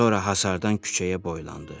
Sonra hasardan küçəyə boylandı.